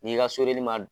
N'i ka soden ma